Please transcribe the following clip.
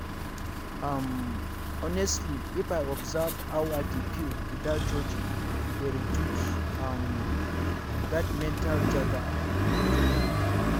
um honestly if i observe how i dey feel without judging e dey reduce um that mental jaga-jaga.